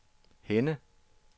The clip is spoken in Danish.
Henne